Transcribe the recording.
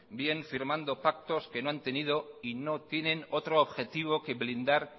bien firmando pactos que no han tenido y no tienen otro objetivo que blindar